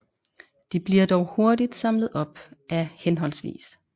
De bliver dog hurtigt samlet op af hhv